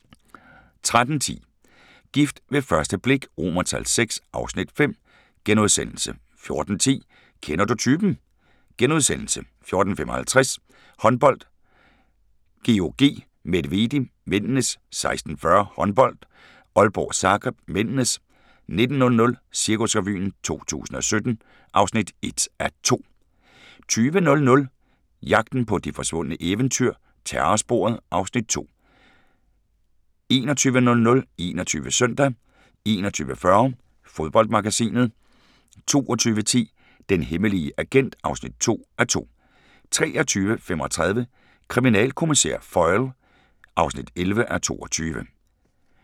13:10: Gift ved første blik VI (Afs. 5)* 14:10: Kender du typen? * 14:55: Håndbold: GOG-Medvedi (m) 16:40: Håndbold: Aalborg-Zagreb (m) 19:00: Cirkusrevyen 2017 (1:2) 20:00: Jagten på de forsvundne eventyr – Terrorsporet (Afs. 2) 21:00: 21 Søndag 21:40: Fodboldmagasinet 22:10: Den hemmelige agent (2:2) 23:35: Kriminalkommissær Foyle (11:22)